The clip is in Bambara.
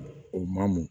O maa mun